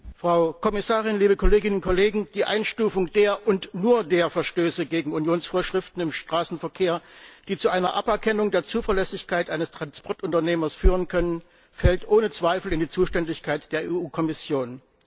Herr Präsident, Frau Kommissarin, liebe Kolleginnen und Kollegen! Die Einstufung der und nur der Verstöße gegen Unionsvorschriften im Straßenverkehr, die zu einer Aberkennung der Zuverlässigkeit eines Transportunternehmers führen können, fällt ohne Zweifel in die Zuständigkeit der EU Kommission.